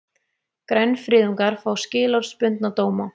Grænfriðungar fá skilorðsbundna dóma